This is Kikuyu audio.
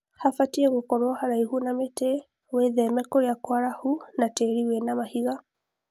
Habatie gũkorwo haraihu na mĩtĩ wĩtheme kũria kwarahu na tĩri wina mahiga